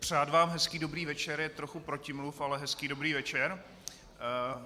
Přát vám hezký dobrý večer je trochu protimluv, ale hezký dobrý večer.